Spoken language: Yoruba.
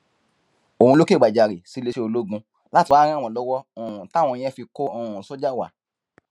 òun ló kẹgbajàre sí iléeṣẹ ológun láti wáá ràn wọn lọwọ um táwọn yẹn fi kọ um sójà wa